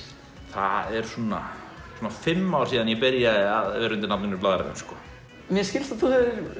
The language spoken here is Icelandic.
það eru svona fimm ár síðan ég byrjaði að vinna undir nafninu Blaðrarinn mér skilst að þú